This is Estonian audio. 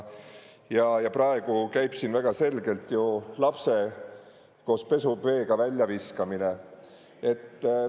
Ja praegu käib siin väga selgelt ju lapse koos pesuveega väljaviskamine.